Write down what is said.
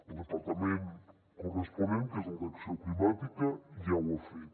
el departament corresponent que és el d’acció climàtica ja ho ha fet